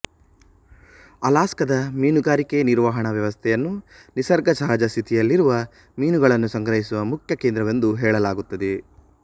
ಅಲಸ್ಕಾದ ಮೀನುಗಾರಿಕೆ ನಿರ್ವಹಣಾ ವ್ಯವಸ್ಥೆಯನ್ನು ನಿಸರ್ಗ ಸಹಜ ಸ್ಥಿತಿಯಲ್ಲಿರುವ ಮೀನುಗಳನ್ನು ಸಂಗ್ರಹಿಸುವ ಮುಖ್ಯ ಕೇಂದ್ರವೆಂದು ಹೇಳಲಾಗುತ್ತದೆ